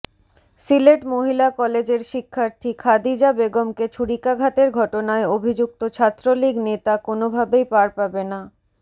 সিলেট মহিলা কলেজের শিক্ষার্থী খাদিজা বেগমকে ছুরিকাঘাতের ঘটনায় অভিযুক্ত ছাত্রলীগ নেতা কোনোভাবেই পার পাবে না